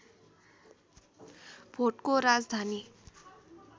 भोटको राजधानी